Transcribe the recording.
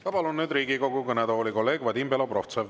Ma palun nüüd Riigikogu kõnetooli kolleeg Vadim Belobrovtsevi.